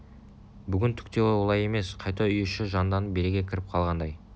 бүгін түк те олай емес қайта үй іші жанданып береке кіріп қалғандай